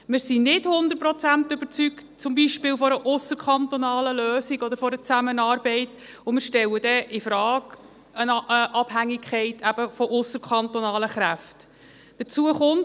Wir sind beispielsweise nicht hundertprozentig von einer ausserkantonalen Lösung oder Zusammenarbeit überzeugt, und wir stellen dort die Abhängigkeit von ausserkantonalen Kräften in Frage.